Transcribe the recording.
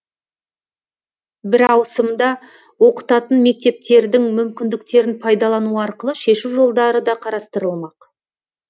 бір ауысымда оқытатын мектептердің мүмкіндіктерін пайдалану арқылы шешу жолдары да қарастырылмақ